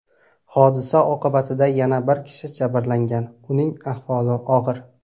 Hodisa oqibatida yana bir kishi jabrlangan, uning ahvoli og‘ir.